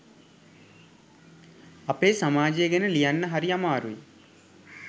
අපේ සමාජය ගැන ලියන්න හරි අමාරුයි